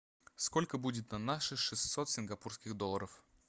сколько будет на наши шестьсот сингапурских долларов